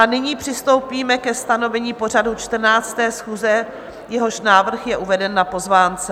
A nyní přistoupíme ke stanovení pořadu 14. schůze, jehož návrh je uveden na pozvánce.